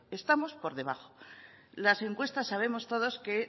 estamos por debajo las encuestas sabemos todos que